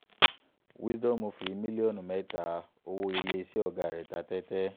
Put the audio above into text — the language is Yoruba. wisdom fi mílíọ̀nù mẹ́ta owó iléeṣẹ́ ọ̀gá rẹ̀ ta tẹ́tẹ́